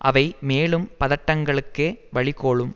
அவை மேலும் பதட்டங்களுக்கே வழி கோலும்